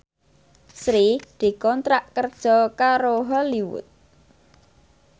Sri dikontrak kerja karo Hollywood